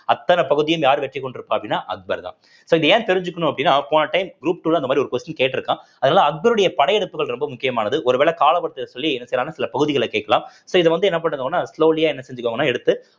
அத்தனை பகுதியும் யார் வெற்றிக்கொண்டிருப்பார் அப்படின்னா அக்பர் தான் so இத ஏன் தெரிஞ்சுக்கணும் அப்படின்னா போன time group two ல அந்த மாதிரி ஒரு question கேட்டிருக்கான் அதனால அக்பருடைய படையெடுப்புகள் ரொம்ப முக்கியமானது ஒருவேள கால சொல்லி சில பகுதிகளை கேட்கலாம் so இது வந்து என்ன பண்ணுதுன்னா slowly ஆ என்ன செஞ்சிகோங்கன்னா எடுத்து